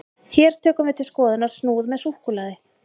hér tökum við til skoðunar snúð með súkkulaði